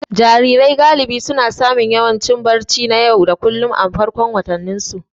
Jarirai galibi suna samun yanayin barci na yau da kullun a farkon watanninsu.